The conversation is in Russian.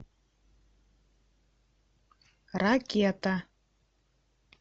ракета